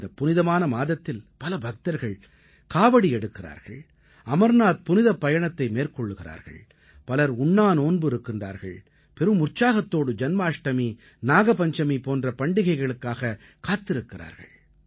இந்தப் புனிதமான மாதத்தில் பல பக்தர்கள் காவடி எடுக்கிறார்கள் அமர்நாத் புனிப்பயணத்தை மேற்கொள்கிறார்கள் பலர் உண்ணாநோன்பு இருக்கிறார்கள் பெரும் உற்சாகத்தோடு ஜன்மாஷ்டமி நாக பஞ்சமி போன்ற பண்டிகைகளுக்காகக் காத்திருக்கிறார்கள்